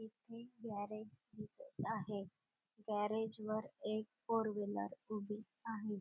येथे गॅरेज दिसत आहे गॅरेज वर एक फोर व्हीलर उभी आहे.